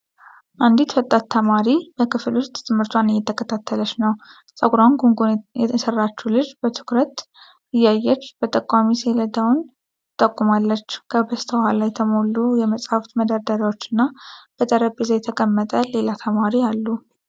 አንዲት ወጣት ተማሪ በክፍል ውስጥ ትምህርቷን እየተከታተለች ነው። ፀጉሯን ጉንጉን የሰራችው ልጅ በትኩረት እያየች በጠቋሚ ሰሌዳውን ትጠቁማለች። ከበስተኋላ የተሞሉ የመጻሕፍት መደርደሪያዎች እና በጠረጴዛ የተቀመጠ ሌላ ተማሪ አሉ።